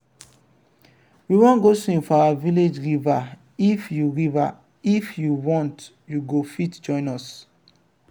we wan go swim for our village river if you river if you want you go fit join us.